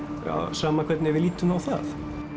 sama hvernig við lítum á það